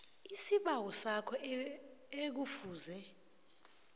isibawo sakho ekufuze